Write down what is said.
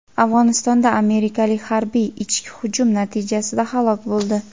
Afg‘onistonda amerikalik harbiy "ichki hujum" natijasida halok bo‘ldi.